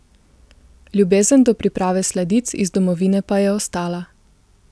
Ljubezen do priprave sladic iz domovine pa je ostala.